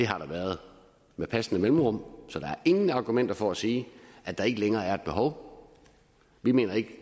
har været med passende mellemrum så der er ingen argumenter for at sige at der ikke længere er et behov vi mener